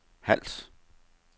Hals